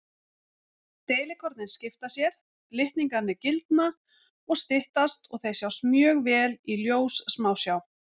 Deilikornin skipta sér, litningarnir gildna og styttast og þeir sjást mjög vel í ljóssmásjá.